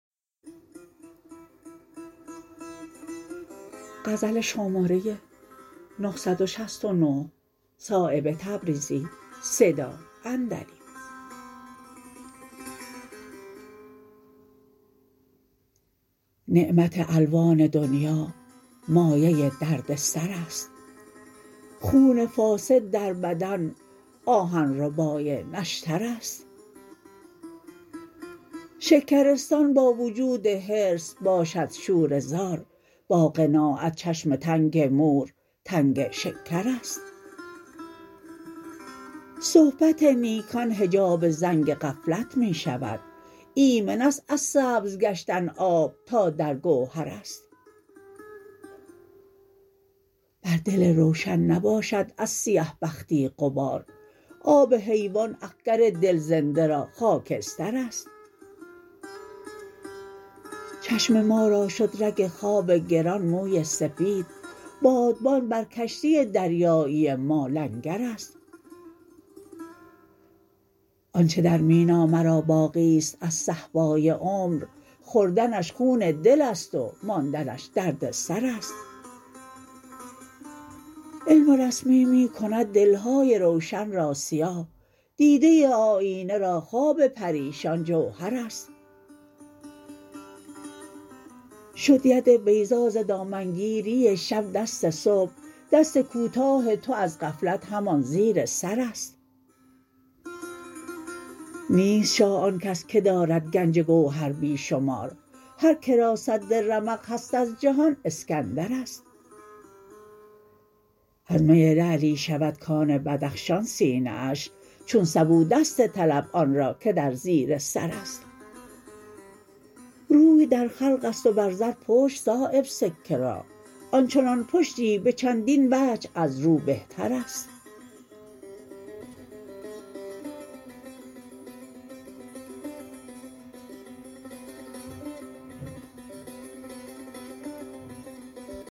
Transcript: نعمت الوان دنیا مایه دردسرست خون فاسد در بدن آهن ربای نشترست شکرستان با وجود حرص باشد شوره زار با قناعت چشم تنگ مور تنگ شکرست صحبت نیکان حجاب زنگ غفلت می شود ایمن است از سبز گشتن آب تا در گوهرست بر دل روشن نباشد از سیه بختی غبار آب حیوان اخگر دل زنده را خاکسترست چشم ما را شد رگ خواب گران موی سفید بادبان بر کشتی دریایی ما لنگرست آنچه در مینا مرا باقی است از صهبای عمر خوردنش خون دل است و ماندنش دردسرست علم رسمی می کند دلهای روشن را سیاه دیده آیینه را خواب پریشان جوهرست شد ید بیضا ز دامنگیری شب دست صبح دست کوتاه تو از غفلت همان زیر سرست نیست شاه آن کس که دارد گنج گوهر بی شمار هر که را سد رمق هست از جهان اسکندرست از می لعلی شود کان بدخشان سینه اش چون سبو دست طلب آن را که در زیر سرست روی در خلق است و بر زر پشت صایب سکه را آنچنان پشتی به چندین وجه از رو بهترست